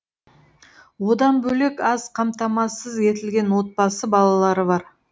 одан бөлек аз қамтамасыз етілген отбасы балалары бар